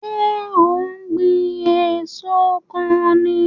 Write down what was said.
So ó ń gbìn èso kan ni?